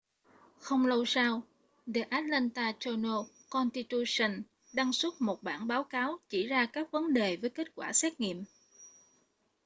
không lâu sau the atlanta journal-constitution đăng xuất bản một báo cáo chỉ ra các vấn đề với kết quả xét nghiệm